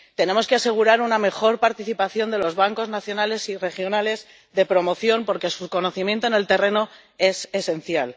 Tenemos que asegurar una mejor participación de los bancos nacionales y regionales de promoción, porque su conocimiento en el terreno es esencial.